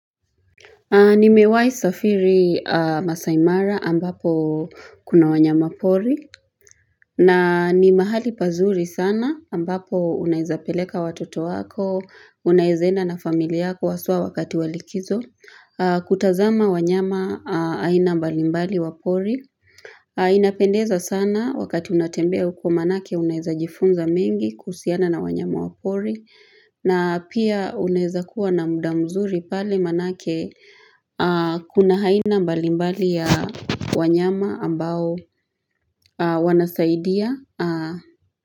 Nimewai safiri Masai mara ambapo kuna wanyama pori na ni mahali pazuri sana ambapo unaeza peleka watoto wako, unaeze na enda na familia yako haswa wakati wa likizo, kutazama wanyama aina mbalimbali wa pori. Inapendeza sana wakati unatembea kwa manake uneza jifunza mengi kuhusiana na wanyama wa pori na pia unaeza kuwa na muda mzuri pale manake kuna aina mbalimbali ya wanyama ambao wanasaidia.